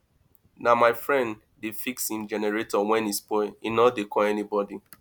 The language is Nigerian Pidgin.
na my friend dey fix im generator wen e spoil e no dey call anybodi